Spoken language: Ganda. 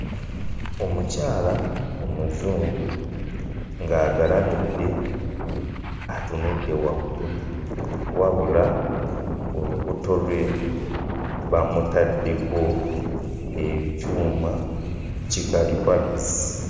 Omukyala omuzungu ng'agalamidde atunudde waggulu wabula olubuto lwe bamutaddeko ekyuma ki kalimagezi.